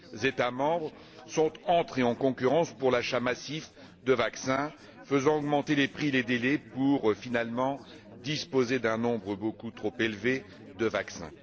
États membres sont entrés en concurrence pour l'achat massif de vaccins, faisant augmenter les prix et les délais pour, finalement, disposer d'un nombre beaucoup trop élevé de vaccins.